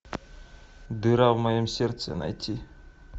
дыра в моем сердце найти